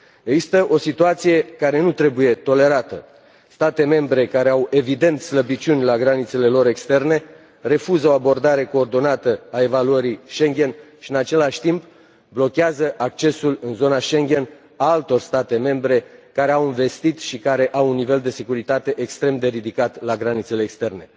Există o situație care nu trebuie tolerată state membre care au, evident, slăbiciuni la granițele lor externe refuză o abordare coordonată a evaluării Schengen și în același timp blochează accesul în zona Schengen al altor state membre, care au investit și care au un nivel de securitate extrem de ridicat la granițele externe.